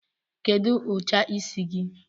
Kedụ ụcha isi gi?